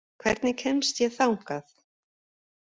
Kristin, hvernig kemst ég þangað?